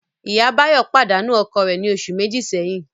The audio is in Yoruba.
Ìyá Báyọ̀ pàdánù ọkọ rẹ̀ ní oṣù méjì sẹ́yìn